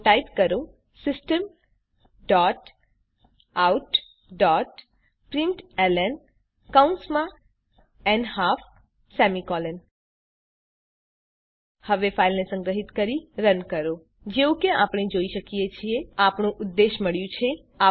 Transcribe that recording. તો ટાઈપ કરો systemoutપ્રિન્ટલન હવે ફાઈલને સંગ્રહીત કરીને રન કરો જેવું કે આપણે જોઈ શકીએ છીએ આપણું ઉદ્દેશ મળ્યું છે